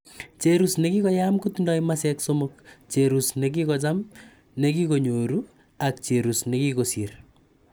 cherus negigoyam kotindoi masek somok, cherus negigojam, negoginyoru ak cherus negigosir